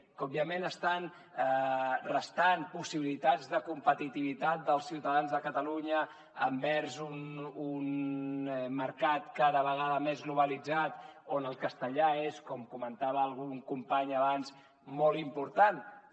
que òbviament estan restant possibilitats de competitivitat dels ciutadans de catalunya envers un mercat cada vegada més globalitzat on el castellà és com comentava algun company abans molt important també